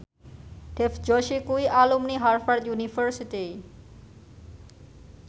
Dev Joshi kuwi alumni Harvard university